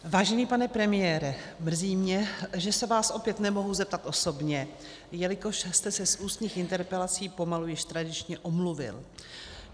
Vážený pane premiére, mrzí mě, že se vás opět nemohu zeptat osobně, jelikož jste se z ústních interpelací, pomalu již tradičně, omluvil.